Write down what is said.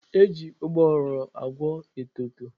E ji ụgbọghoro agwọ etoto.